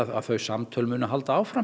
að þau samtöl haldi áfram